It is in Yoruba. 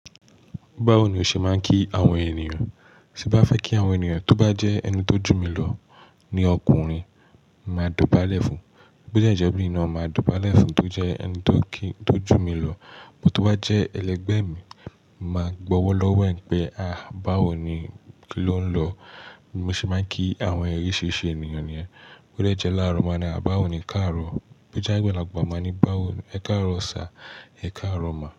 Báwo ni o ṣe máa ń kí àwọn ènìyàn? Ti bá fẹ́ kí àwọn ènìyàn, tó bá jẹ́ ẹni tó jù mí lọ ní ọkùnrin, máa dọ̀bálẹ̀ fún. Bí ó jẹ́ ìjọba inú ọ̀nà, máa dọ̀bálẹ̀ fún tó jẹ́ ẹni tó kí, tó jù mí lọ. But tó bá jẹ́ ẹlẹgbẹ́ mi, màá gbowolowo ẹ̀ pé, à báwo ni kí ló ń lọ. Mo ṣe máa ń kí àwọn oríṣìríṣì ènìyàn ni ẹ́. Bí ó dẹ́ láàrọ̀ máa ní à báwo ni ka rọ̀. Bí ó jẹ́ àgbàlagbà máa ní báwo ni ẹ ká rọ̀ sir, ẹ ká Ma.